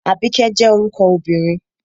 Àbíkẹ́ jẹ́ orúkọ obìnrin